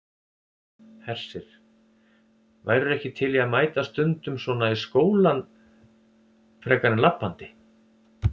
Hersir: Værirðu ekki til í að mæta stundum svona í skólann frekar en labbandi?